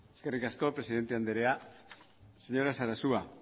eskerrik asko presidente andrea señora sarasua